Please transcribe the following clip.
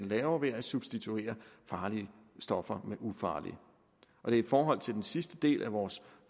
laver ved at substituere farlige stoffer med ufarlige det er i forhold til den sidste del af vores